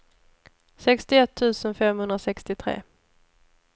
sextioett tusen femhundrasextiotre